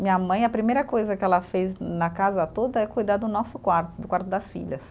Minha mãe, a primeira coisa que ela fez na casa toda é cuidar do nosso quarto, do quarto das filhas.